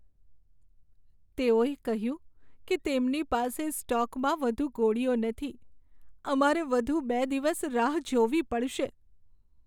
તેઓએ કહ્યું કે તેમની પાસે સ્ટોકમાં વધુ ગોળીઓ નથી. અમારે વધુ બે દિવસ રાહ જોવી પડશે.